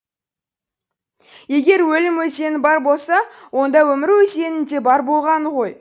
егер өлім өзені бар болса онда өмір өзенінің де бар болғаны ғой